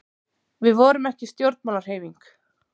Við vorum ekki stjórnmálahreyfing.